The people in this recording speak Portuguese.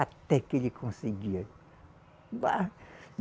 Até que ele conseguia. Bá